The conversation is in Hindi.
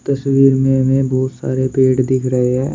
तस्वीर में बहुत सारे पेड़ दिख रहे हैं।